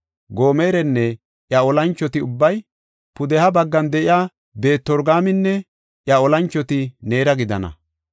Gomerinne iya olanchoti ubbay, pudeha baggan de7iya Beet-Torgaaminne iya olanchoti neera gidana.